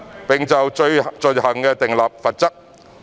並就罪行訂立罰則。